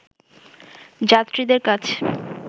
যাত্রীদের কাছ